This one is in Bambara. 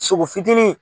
Sogo fitinin